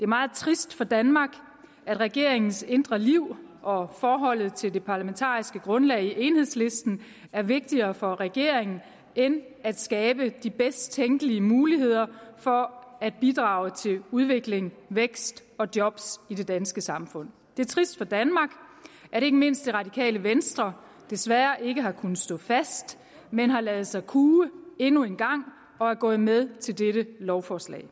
meget trist for danmark at regeringens indre liv og forholdet til det parlamentariske grundlag i enhedslisten er vigtigere for regeringen end at skabe de bedst tænkelige muligheder for at bidrage til udvikling vækst og job i det danske samfund det er trist for danmark at ikke mindst det radikale venstre desværre ikke har kunnet stå fast men har ladet sig kue endnu en gang og er gået med til dette lovforslag